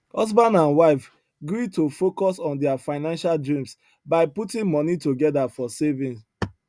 husband and wife gree to focus on their financial dreams by putting money together for saving